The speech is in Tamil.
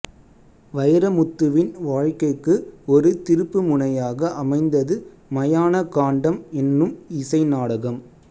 வைரமுத்துவின் வாழ்க்கைக்கு ஒரு திருப்பு முனையாக அமைந்தது மயான காண்டம் என்னும் இசை நாடகம்